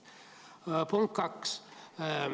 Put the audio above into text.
Punkt kaks.